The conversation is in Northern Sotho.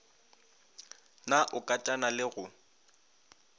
na o katana le go